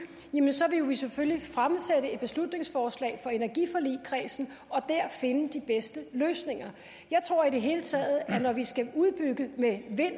vil vi selvfølgelig fremsætte et beslutningsforslag for energiforligskredsen og der finde de bedste løsninger jeg tror i det hele taget at når vi fremadrettet skal udbygge med vind